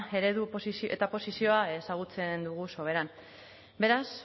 eredu eta posizioa ezagutzen dugu soberan beraz